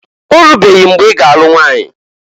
Orubeghi mgbe iga a nụ nwanyi?